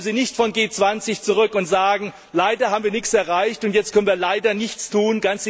Kommen Sie nicht vom G20 Gipfel zurück und sagen Leider haben wir nichts erreicht, und jetzt können wir leider nichts tun.